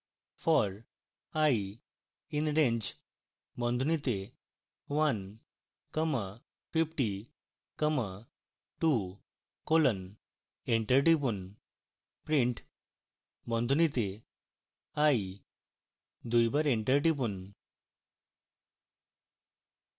for i in range বন্ধনীতে one comma fifty comma two colon